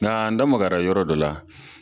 Nka n da magara yɔrɔ dɔ la